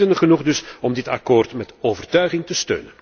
Redenen genoeg dus om dit akkoord met overtuiging te ondersteunen.